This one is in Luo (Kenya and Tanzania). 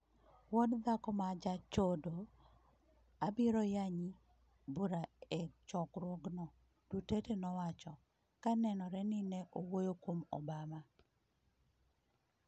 Wuod dhako ma jachodo, abiro yanyi bura e chokruogno,” Duterte nowacho, ka nenore ni ne owuoyo kuom Obama.